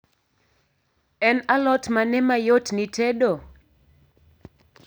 En alot mane mayot ni tedo?